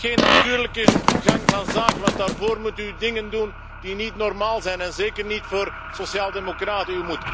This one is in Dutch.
Dat is geen natuurlijke gang van zaken want daarvoor moet u dingen doen die niet normaal zijn en zeker niet voor sociaaldemocraten.